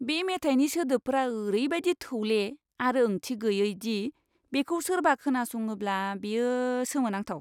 बे मेथाइनि सोदोबफोरा ओरैबायदि थौले आरो ओंथि गैयै दि बेखौ सोरबा खोनासङोब्ला बेयो सोमोनांथाव!